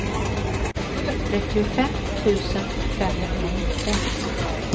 trettiofem tusen femhundranitton